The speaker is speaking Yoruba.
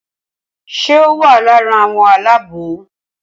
Ṣé o wà lára àwọn aláàbò?